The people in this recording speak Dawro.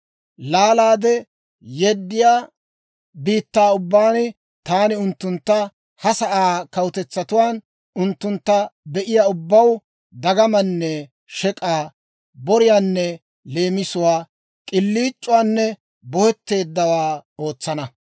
Laalaade yeddiyaa biittaa ubbaan taani unttuntta ha sa'aa kawutetsatuwaan unttuntta be'iyaa ubbaw dagamaanne shek'aa, boriyaanne leemisuwaa, k'iliic'uwaanne bohetteeddawaa ootsana.